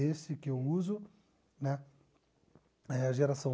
Esse que eu uso né é a geração